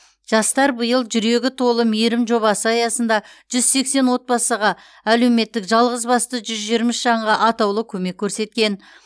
жастар биыл жүрегі толы мейірім жобасы аясында жүз сексен отбасыға әлеуметтік жалғызбасты жүз жиырма үш жанға атаулы көмек көрсеткен